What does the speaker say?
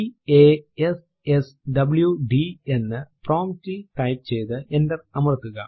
p a s s w d എന്ന് prompt ൽ type ചെയ്തു എന്റർ അമർത്തുക